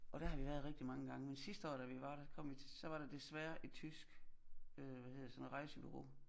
Og der har vi været rigtig mange gange men sidste år da vi var kom vi til så var der desværre et tysk øh hvad hedder det sådan rejsebureau